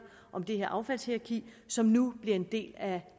om det her affaldshierarki som nu bliver en del af